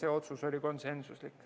Aitäh!